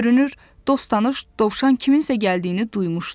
Görünür, dost-tanış dovşan kiminsə gəldiyini duymuşdu.